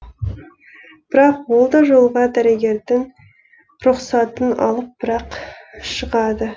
бірақ ол да жолға дәрігердің рұқсатын алып бірақ шығады